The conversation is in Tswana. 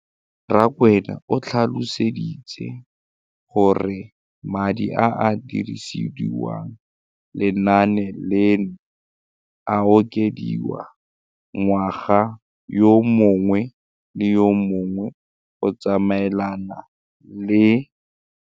Rakwena o tlhalositse gore madi a a dirisediwang lenaane leno a okediwa ngwaga yo mongwe le yo mongwe go tsamaelana le.